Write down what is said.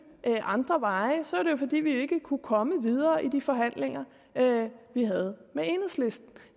andre veje så var det jo fordi vi ikke kunne komme videre i de forhandlinger vi havde med enhedslisten